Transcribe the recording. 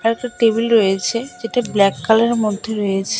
একটা টেবিল রয়েছে যেটা ব্ল্যাক কালারের মধ্যে রয়েছে।